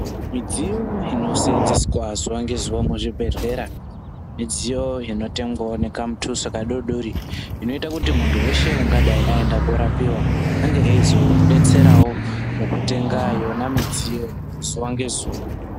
Midziyo inosenzeswa zuwa ngezuwa muzvibhedhlera midziyo inotengwawo nekamutuso kadodori inoita kuti muntu weshe anenge aenda korapiwa ange eizodetserawo mukutenga yona midziyo zuwa ngezuwa.